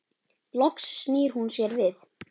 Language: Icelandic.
Loks snýr hún sér við.